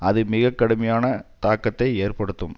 அது மிக கடுமையான தாக்கத்தை ஏற்படுத்தும்